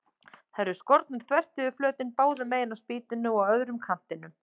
Þær eru skornar þvert yfir flötinn, báðu megin á spýtunni og á öðrum kantinum.